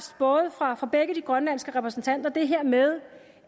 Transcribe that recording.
fra fra begge de grønlandske repræsentanter det her med